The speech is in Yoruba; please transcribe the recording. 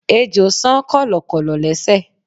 Ejò san kọ̀lọ̀kọ̀lọ̀ lésẹ̀.